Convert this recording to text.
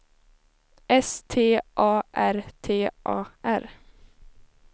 S T A R T A R